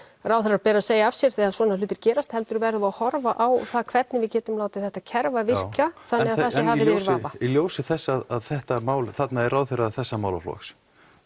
ráðherra beri að segja af sér þegar svona hlutir gerast heldur verðum við að horfa á það hvernig við getum látið þetta kerfi virka þannig að það sé hafið yfir vafa já í ljósi þess að þetta mál þarna er ráðherra þessa málaflokks